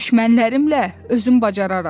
Düşmənlərimlə özüm bacararam.